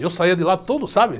E eu saía de lá todo, sabe?